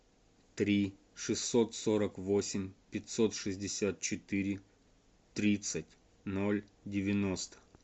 три шестьсот сорок восемь пятьсот шестьдесят четыре тридцать ноль девяносто